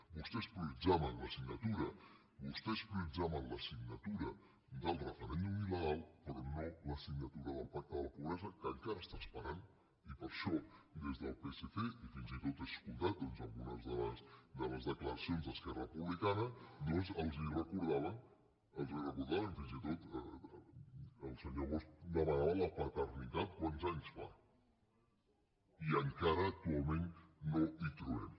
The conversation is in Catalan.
vostès prioritzaven la signatura vostès prioritzaven la signatura del referèndum il·legal però no la signatura del pacte de la pobresa que encara està esperant i per això des del psc i fins i tot he escoltat doncs en algunes de les declaracions d’esquerra republicana doncs els recordava fins i tot el senyor bosch demanava la paternitat quants anys fa i encara actualment no la hi trobem